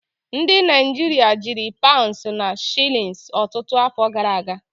Ndị Naịjirịa jiri paụnds na shilins ọtụtụ afọ gara aga.